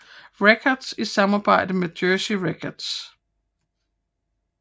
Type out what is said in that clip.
Records i samarbejde med Jersey Records